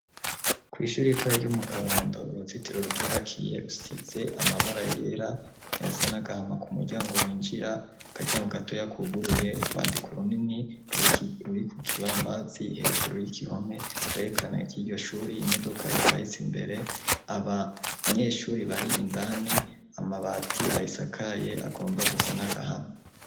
Kw'ishuri ritoya ryo mu kabando, uruzitiro ruryubakiye usitse amabara yera, ayasa n'agahama ku muryango winjira, akaryango gatoya kuguruye, urwandiko runini ruri ku kibambazii hejuru y'igihome kwerekana y'iryo shuri, imodoka iparitse imbere. Abanyeshuri bari indani, amabati arisakaye agomba gusa n'agahama.